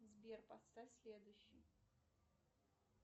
сбер поставь следующий